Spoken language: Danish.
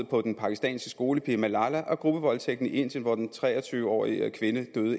på den pakistanske skolepige malala og gruppevoldtægten i indien hvor den tre og tyve årige kvinde